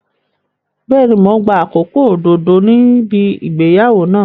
Bẹ́ẹ̀ni, mò ń gba àkókò òdodo níbi ìgbéyàwó náà.